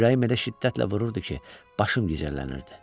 Ürəyim elə şiddətlə vururdu ki, başım gicəllənirdi.